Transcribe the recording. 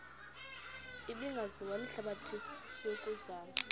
ebingaziwa lihlabathi yokuzama